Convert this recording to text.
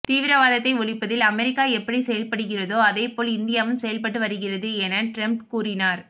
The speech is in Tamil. தீவிரவாதத்தை ஒழிப்பதில் அமெரிக்கா எப்படி செயல்படுகிறதோ அதேபோல் இந்தியாவும் செயல்பட்டு வருகிறது என ட்ரம்ப் கூறினார்